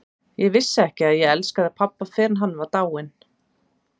Ég vissi ekki að ég elskaði pabba fyrr en hann var dáinn.